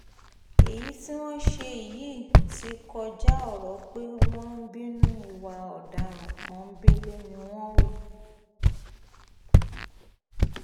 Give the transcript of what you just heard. èyí tí wọ́n ṣe yìí ti kọjá ọ̀rọ̀ pé wọ́n ń bínú ìwà ọ̀daràn pọ́ńbélé ni wọ́n hù